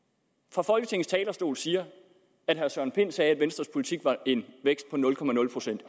fra folketingets talerstol siger at herre søren pind sagde at venstres politik var en vækst på nul procent